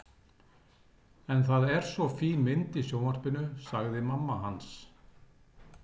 En það er svo fín mynd í sjónvarpinu sagði mamma hans.